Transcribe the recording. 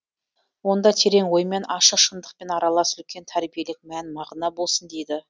онда терең оймен ашық шыңдықпен аралас үлкен тәрбиелік мән мағына болсын дейді